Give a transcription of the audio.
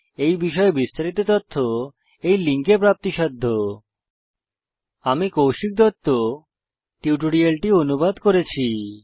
এই বিষয়ে বিস্তারিত তথ্য এই লিঙ্কে প্রাপ্তিসাধ্য httpspoken tutorialorgNMEICT Intro আমি কৌশিক দত্ত টিউটোরিয়ালটি অনুবাদ করেছি